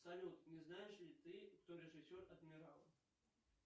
салют не знаешь ли ты кто режиссер адмирала